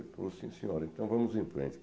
Ele falou sim, senhora, então vamos em frente.